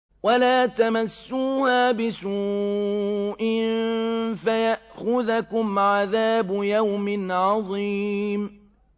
وَلَا تَمَسُّوهَا بِسُوءٍ فَيَأْخُذَكُمْ عَذَابُ يَوْمٍ عَظِيمٍ